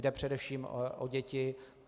Jde především o děti.